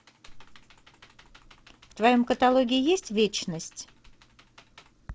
в твоем каталоге есть вечность